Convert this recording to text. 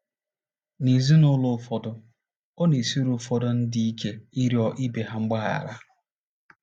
N’ezinụlọ ụfọdụ, ọ na - esiri ụfọdụ ndị ike ịrịọ ibe ha mgbaghara.